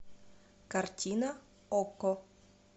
картина окко